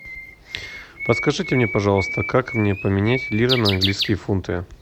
подскажите мне пожалуйста как мне поменять лиры на английские фунты